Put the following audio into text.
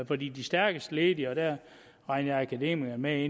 for de de stærkest ledige og der regner jeg akademikerne med